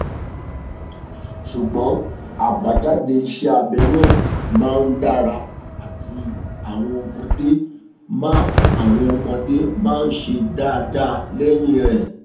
sugbon abajade ise abe naa ma n dara ati awon omode ma awon omode ma se daadaa leyin e